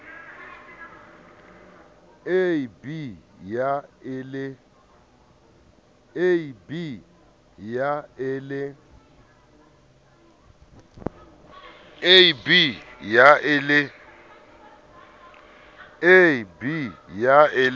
a b ya e le